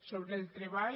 sobre el treball